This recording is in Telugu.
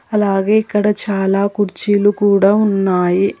అలాగే ఇక్కడ చాలా కుర్చీలు కూడా ఉన్నాయి.